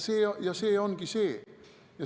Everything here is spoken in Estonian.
See ongi see.